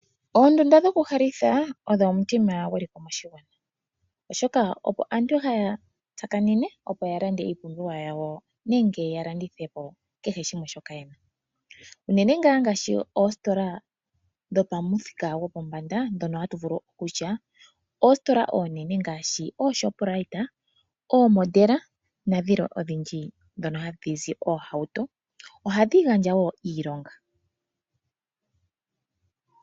Ondunda dhoku halitha odho omutima gweliko moshigwana oshoka opo aantu haya tsakanena opo ya lande iipumbiwa yawo nenge ya landithepo shoka yena , unene ngaa ngaashi oositola dho pamuthika gwopombanda ndhono hatu ithana kutya oositola oonene ngaashi oonene ngaashi Oshoprite, oomodela nadhilwe odhindji ndhono hadhizi oohauto. ohadhi gandja woo iilonga.